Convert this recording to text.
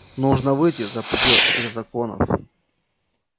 нужно выйти за предел этих законов